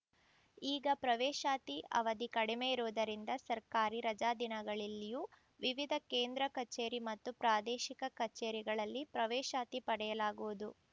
ಈಗ ಪ್ರವೇಶಾತಿ ಅವಧಿ ಕಡಿಮೆ ಇರುವುದರಿಂದ ಸರ್ಕಾರಿ ರಜಾ ದಿನಗಳಲ್ಲಿಯೂ ವಿವಿದ ಕೇಂದ್ರ ಕಚೇರಿ ಮತ್ತು ಪ್ರಾದೇಶಿಕ ಕಚೇರಿಗಳಲ್ಲಿ ಪ್ರವೇಶಾತಿ ಪಡೆಯಲಾಗುವುದು